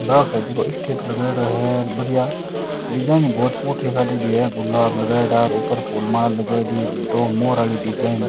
ब्याव शादी को स्टेज लगाईडाे है बढ़िया डिजाइन भी बहोत फूटरी काडेडी है गुलाब लगाईडा ऊपर फूल माला लगाईडी दो मोर आली डिजाइन --